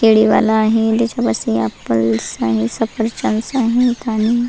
केळी वाला आहे. त्याच्यापाशी ॲपल्स आहे सफरचंदस् आणि --